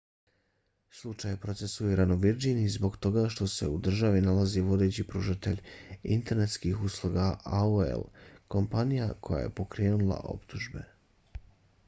slučaj je procesuiran u virdžiniji zbog toga što se u toj državi nalazi vodeći pružatelj internetskih usluga aol kompanija koja je pokrenula optužbe